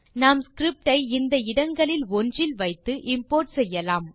நாம் ஸ்கிரிப்ட் ஐ இந்த இடங்கள் ஒன்றில் வைத்து இம்போர்ட் செய்யலாம்